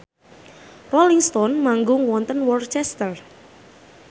Rolling Stone manggung wonten Worcester